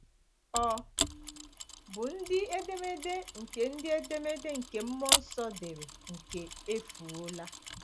Ò bụ ndị edemede nke ndị edemede nke mmụọ nsọ dere nke efuola?